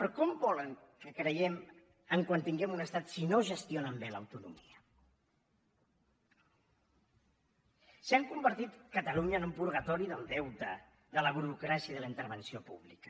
però com volen que creiem en quan tinguem un estat si no gestionen bé l’autonomia si han convertit catalunya en un purgatori del deute de la burocràcia de la intervenció pública